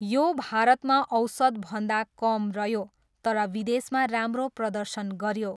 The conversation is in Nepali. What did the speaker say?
यो भारतमा औसतभन्दा कम रह्यो तर विदेशमा राम्रो प्रदर्शन गऱ्यो।